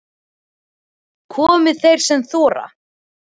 Komi þeir sem þora